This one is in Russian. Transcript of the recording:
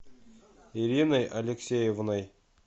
ириной алексеевной